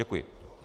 Děkuji.